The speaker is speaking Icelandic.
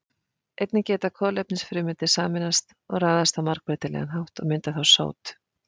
Einnig geta kolefnisfrumeindir sameinast og raðast á margbreytilegan hátt og mynda þá sót.